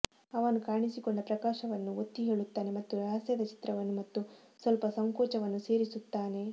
ಅವನು ಕಾಣಿಸಿಕೊಂಡ ಪ್ರಕಾಶವನ್ನು ಒತ್ತಿಹೇಳುತ್ತಾನೆ ಮತ್ತು ರಹಸ್ಯದ ಚಿತ್ರವನ್ನು ಮತ್ತು ಸ್ವಲ್ಪ ಸಂಕೋಚವನ್ನು ಸೇರಿಸುತ್ತಾನೆ